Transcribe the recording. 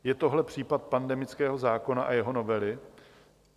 Je tohle případ pandemického zákona a jeho novely?